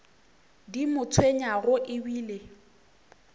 di mo tshwenyago e bile